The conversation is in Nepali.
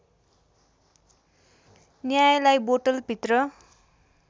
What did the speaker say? न्यायलाई बोतलभित्र